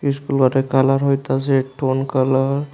School মাঠের colour হইতাছে colour.